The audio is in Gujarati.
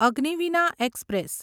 અગ્નિવિના એક્સપ્રેસ